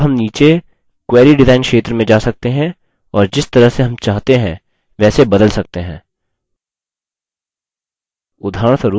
अब हम नीचे query डिज़ाइन क्षेत्र में जा सकते हैं और जिस तरह से हम चाहते हैं वैसे बदल सकते हैं